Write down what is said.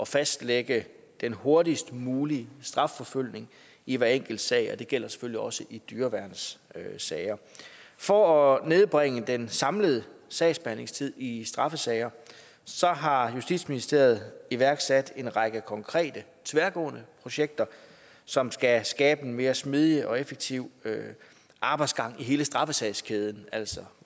fastlægge den hurtigst mulige strafforfølgning i hver enkelt sag og det gælder selvfølgelig også i dyreværnssager for at nedbringe den samlede sagsbehandlingstid i straffesager har justitsministeriet iværksat en række konkrete tværgående projekter som skal skabe en mere smidig og effektiv arbejdsgang i hele straffesagskæden altså